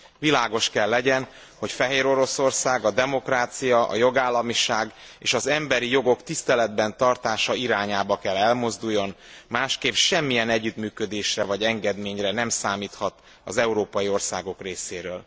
Világos kell legyen, hogy Fehéroroszország a demokrácia, a jogállamiság és az emberi jogok tiszteletben tartása irányába kell elmozduljon, másképp semmilyen együttműködésre vagy engedményre nem számíthat az európai országok részéről.